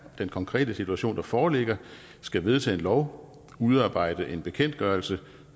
den konkrete situation der foreligger skal vedtage en lov udarbejde en bekendtgørelse